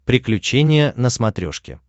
приключения на смотрешке